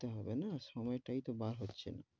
দিতে হবে না, সময় তাই তো বার হচ্ছে না,